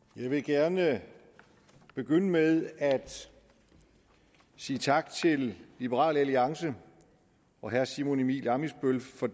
jeg vil gerne begynde med at sige tak til liberal alliance og herre simon emil ammitzbøll for